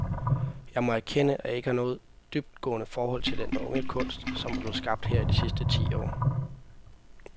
Jeg må erkende, at jeg ikke har noget dybtgående forhold til den unge kunst, som er blevet skabt her i de sidste ti år.